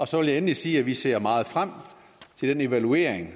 så vil jeg endelig sige at vi ser meget frem til den evaluering